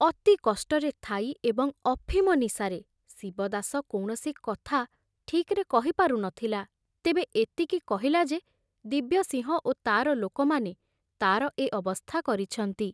ଅତି କଷ୍ଟରେ ଥାଇ ଏବଂ ଅଫିମ ନିଶାରେ ଶିବଦାସ କୌଣସି କଥା ଠିକରେ କହିପାରୁ ନଥିଲା, ତେବେ ଏତିକି କହିଲା ଯେ ଦିବ୍ୟସିଂହ ଓ ତାର ଲୋକମାନେ ତାର ଏ ଅବସ୍ଥା କରିଛନ୍ତି।